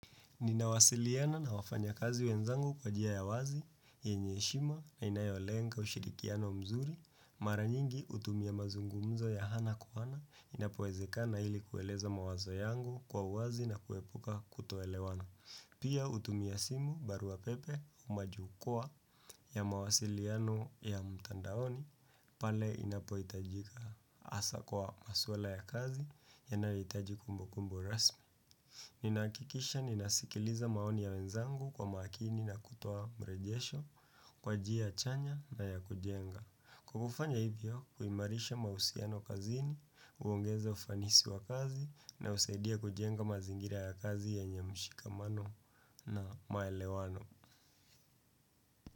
Ninawasiliana na wafanya kazi wenzangu kwa njia ya wazi, yenye heshima na inayolenga ushirikiano mzuri, mara nyingi hutumia mazungumzo ya ana kwa ana inapoezeka na hili kueleza mawazo yangu kwa wazi na kuepuka kutoelewana. Pia utumia simu barua pepe au majukwaa ya mawasiliano ya mtandaoni pale inapohitajika hasa kwa maswala ya kazi ya nahitaji kumbu kumbu rasmi. Ninakikisha ninasikiliza maoni ya wenzangu kwa makini na kutoa mrejesho kwa njia chanya na ya kujenga kukufanya hivyo kuimarisha mahusiano kazini, huongeza ufanisi wa kazi na husaidia kujenga mazingira ya kazi yenye mshikamano na maelewano.